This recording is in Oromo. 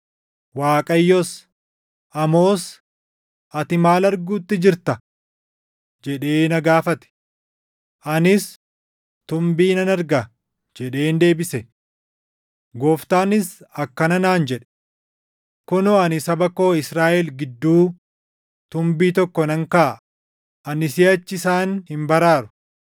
Waaqayyos, “Amoos, ati maal arguutti jirta?” jedhee na gaafate. Anis, “Tumbii nan arga” jedheen deebise. Gooftaanis akkana naan jedhe; “Kunoo ani saba koo Israaʼel gidduu tumbii tokko nan kaaʼa; ani siʼachi isaan hin baraaru.